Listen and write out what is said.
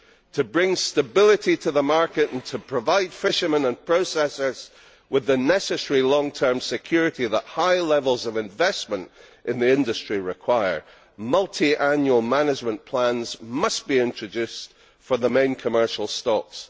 To bring stability to the market and to provide fishermen and processors with the necessary long term security that high levels of investment in the industry require, multiannual management plans must be introduced for the main commercial stocks.